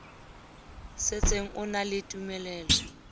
setseng a na le tumelelo